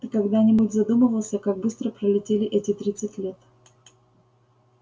ты когда-нибудь задумывался как быстро пролетели эти тридцать лет